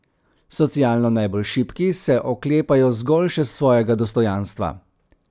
Socialno najbolj šibki se oklepajo zgolj še svojega dostojanstva.